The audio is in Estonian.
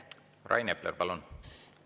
Rain Epler, palun!